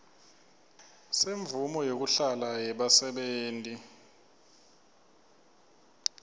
semvumo yekuhlala yebasebenti